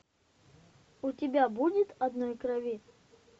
у тебя будет одной крови